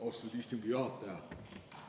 Austatud istungi juhataja!